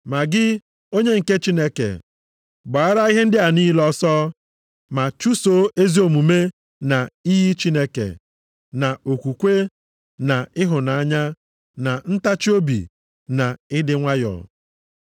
Ma gị bụ onye nke Chineke, gbaara ihe ndị a niile ọsọ. Ma chụsoo ezi omume na iyi Chineke, na okwukwe, na ịhụnanya, na ntachiobi, na ịdị nwayọ.